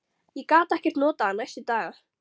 Ég gat ekkert notað hann næstu daga.